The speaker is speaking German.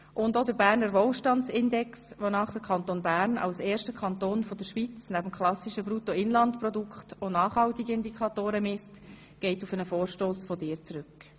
Auch der Berner Wohlstandsindex, wonach der Kanton Bern als erster Kanton der Schweiz neben dem klassischen Bruttoinlandprodukt auch nachhaltige Indikatoren misst, geht auf einen Vorstoss von dir zurück.